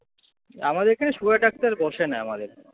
আমাদের এখানে sugar এর ডাক্তার বসে না আমাদের এখানে।